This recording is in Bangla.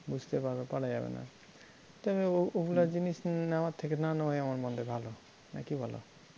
বুঝতেই পারা যাবে না, যাক গে ও~ ওগুলা জিনিস নে~ নেওয়ার থেকে না নেওয়াই আমার মনে হয় ভালো না কি বলো?